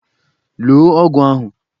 Loo ọgwụ ahụ!